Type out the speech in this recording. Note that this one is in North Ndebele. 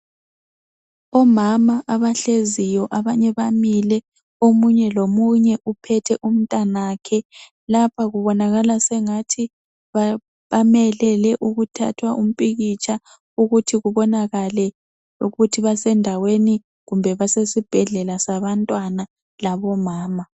Omama abahleziyo abanye bamile omunye lomunye uphethe umntanakhe, lapha kubonakala sengathi bamelele ukuthathwa umpikitsha ukuthi kubonakale ukuthi basendaweni kumbe basesibhedlela sabantwana labomama.